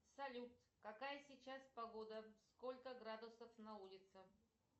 салют какая сейчас погода сколько градусов на улице